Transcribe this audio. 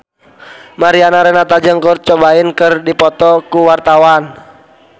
Mariana Renata jeung Kurt Cobain keur dipoto ku wartawan